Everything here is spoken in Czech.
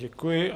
Děkuji.